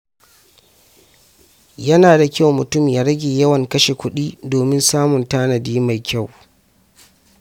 Yana da kyau mutum ya rage yawan kashe kuɗi domin samun tanadi mai kyau.